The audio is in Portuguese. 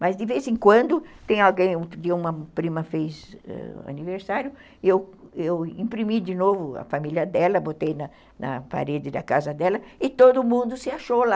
Mas, de vez em quando, tem alguém, um dia uma prima fez ãh aniversário, eu eu imprimi de novo a família dela, botei na parede da casa dela, e todo mundo se achou lá.